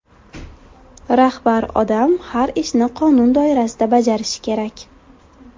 Rahbar odam har ishni qonun doirasida bajarishi kerak.